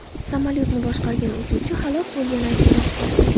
Samolyotni boshqargan uchuvchi halok bo‘lgani aytilmoqda.